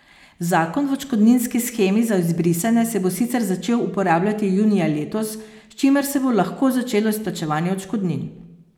Zakon o odškodninski shemi za izbrisane se bo sicer začel uporabljati junija letos, s čimer se bo lahko začelo izplačevanje odškodnin.